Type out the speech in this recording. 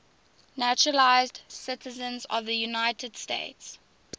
naturalized citizens of the united states